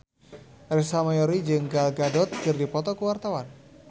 Ersa Mayori jeung Gal Gadot keur dipoto ku wartawan